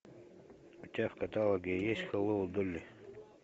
у тебя в каталоге есть хеллоу долли